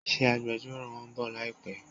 Ṣé agbẹjọ́rò won ń bọ̀ láìpé?